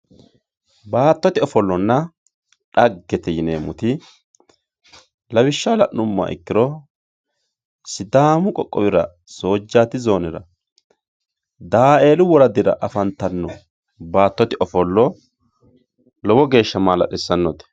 Baatote offolona dhagete yinemoti lawishshaho la`numoha ikiro sidaamu qoqowira soojati zoonera daaelu woradira afantano baatote ofolo lowo geesha maa`lalisanote.